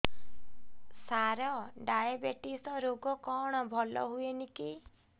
ସାର diabetes ରୋଗ କଣ ଭଲ ହୁଏନି କି